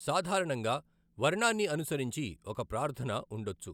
సాధారణంగా వర్ణాన్ని అనుసరించి ఒక ప్రార్ధన ఉండొచ్చు.